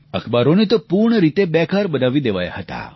અખબારોને તો પૂર્ણ રીતે બેકાર બનાવી દેવાયા હતા